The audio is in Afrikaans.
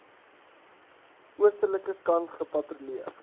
oostelike kant gepatrolleer